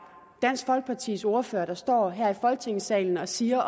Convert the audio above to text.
dansk folkepartis ordfører der står her i folketingssalen og siger